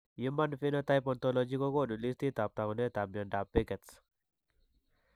Human Phenotype Ontology kokoonu listiitab taakunetaab myondap Behcet's.